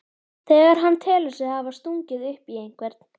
þegar hann telur sig hafa stungið upp í einhvern.